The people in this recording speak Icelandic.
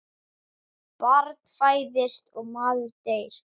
Barn fæðist og maður deyr.